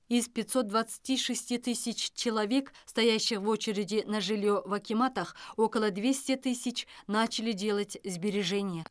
из пятьсот двадцати шести тысяч человек стоящих в очереди на жилье в акиматах около двести тысяч начали делать сбережения